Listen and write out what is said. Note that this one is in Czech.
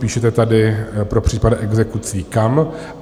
Píšete tady pro případ exekucí kam.